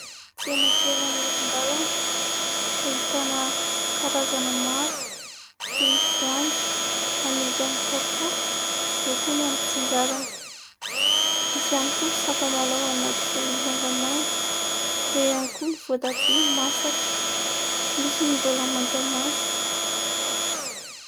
Tsena kely amoron-dalana ahitana karazana maro toy ny voanjo amidy aminy kapoaka eo koa ny amin'ny antsinjarany. Misy ihany koa sakamalao anaty lovia mangamanga ; eo ihany koa ny voatabia masaka misy ny mbola mantamanta.